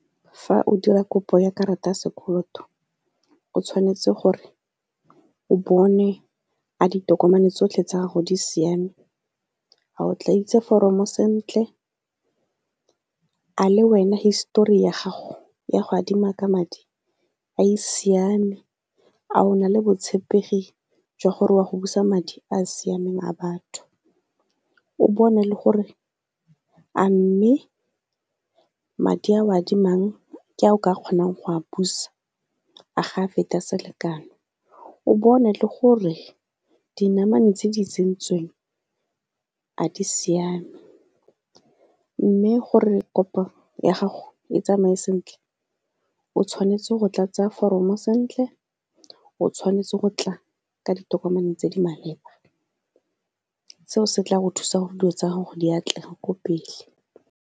Fa o dira kopo ya karata ya sekoloto o tshwanetse gore o bone a ditokomane tsotlhe tsa gago di siame, a o tla itse foromo sentle, a le wena history ya gago ya go adima ka madi a e siame, a o na le botshepegi jwa gore o a go busa madi a a siameng a batho. O bone le gore a mme madi a o adimang ke a o ka kgonang go a busa a ga a feta selekano. O bone le gore dinamane tse di tsentsweng a di siame, mme gore kopo ya gago e tsamaye sentle o tshwanetse go tlatsa foromo sentle, o tshwanetse go tla ka ditokomane tse di maleba, seo se tla go thusa gore dilo tsa gago di atlege ko pele.